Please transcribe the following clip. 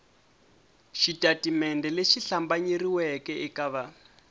xitatimende lexi hlambanyeriweke eka va